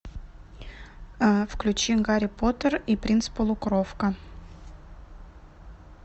включи гарри поттер и принц полукровка